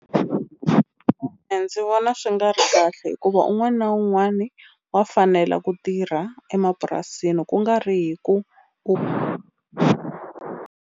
ndzi vona swi nga ri kahle hikuva un'wani na un'wani wa fanele ku tirha emapurasini ku nga ri hi ku .